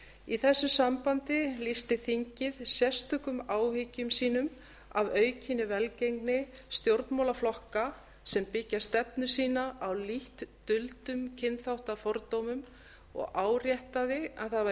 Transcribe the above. í þessu sambandi lýsti þingið sérstökum áhyggjum sínum af aukinni velgengni stjórnmálaflokka sem byggja stefnu sína á lítt duldum kynþáttafordómum og áréttaði að það væri